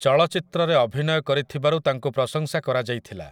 ଚଳଚ୍ଚିତ୍ରରେ ଅଭିନୟ କରିଥିବାରୁ ତାଙ୍କୁ ପ୍ରଶଂସା କରାଯାଇଥିଲା ।